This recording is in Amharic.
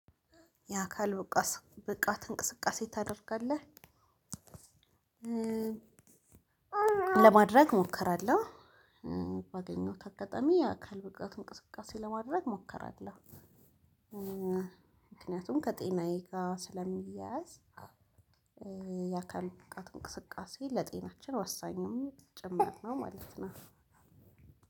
ያ ካልበቃት ብቃት እንቅስቃሴ ታደርጋለህ? ለማድረግ እሞክራለሁ ባገኘው ከአጋጣሚ የአካል ብቃት እንቅስቃሴ ለማድረግ እሞክራለሁ። ምክንያቱም ከጤናዬ ጋር ስለሚያያዝ። የአካል ብቃት እንቅስቃሴ ለጤናችን ወሳኝም ጭምር ነው ማለት ነው።